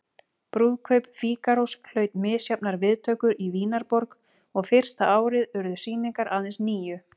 Brúðkaup Fígarós hlaut misjafnar viðtökur í Vínarborg og fyrsta árið urðu sýningar aðeins níu.